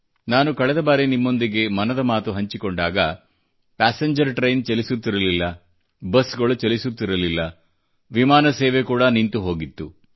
ನಾನು ಕಳೆದ ಬಾರಿ ನಿಮ್ಮೊಂದಿಗೆ ಮನದ ಮಾತು ಹಂಚಿಕೊಂಡಾಗ ಪ್ಯಾಸೆಂಜರ್ ಟ್ರೈನ್ ಚಲಿಸುತ್ತಿರಲಿಲ್ಲ ಬಸ್ ಗಳು ಚಲಿಸುತ್ತಿರಲಿಲ್ಲ ವಿಮಾನ ಸೇವೆ ಕೂಡಾ ನಿಂತುಹೋಗಿತ್ತು